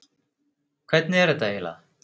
Hvernig er þetta eiginlega?